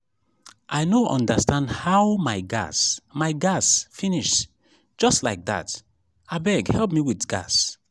i no understand how my gas my gas finish just like dat abeg help me with gas